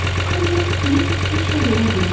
Ancaq Krisk heç nə görə bilmədi.